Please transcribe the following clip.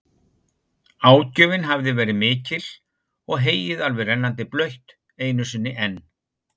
Ágjöfin hafði verið mikil og heyið alveg rennandi blautt einu sinni enn.